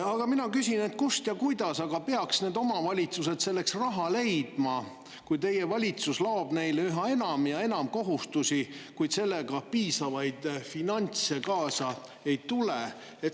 Aga mina küsin, kust ja kuidas aga peaksid omavalitsused selleks raha leidma, kui teie valitsus loob neile üha enam ja enam kohustusi, kuid sellega piisavaid finantse kaasa ei tule.